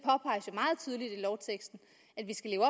lovteksten at vi skal leve